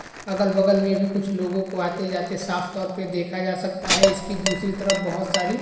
अगल-बगल में भी कुछ लोगों को आते जाते साफ तौर पे देखा जा सकता है। इसकी दूसरी तरफ बहोत सारी --